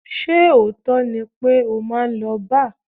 Ṣé òótọ́ ni pé o máa ń lọ bar?